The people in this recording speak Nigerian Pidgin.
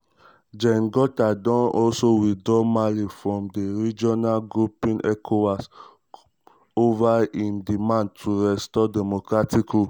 gen goïta don also withdraw mali from di regional grouping ecowas grouping ecowas over im demands to restore democratic rule.